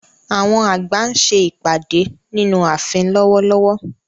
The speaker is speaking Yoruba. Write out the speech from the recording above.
Àwọn àgbà ń ṣe ìpàdé nínú ààfin lọ́wọ́lọ́wọ́.